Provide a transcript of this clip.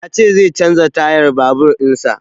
Ya ce zai canza tayan babur in sa